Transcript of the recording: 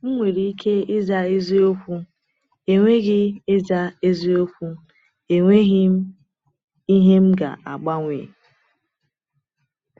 M nwere ike ịza eziokwu, “Enweghị ịza eziokwu, “Enweghị m ihe m ga-agbanwe!”